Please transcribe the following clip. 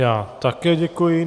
Já také děkuji.